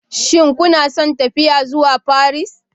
Shin kuna son tafiya zuwa Paris?